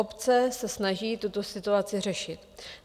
Obce se snaží tuto situaci řešit.